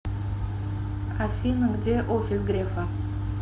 афина где офис грефа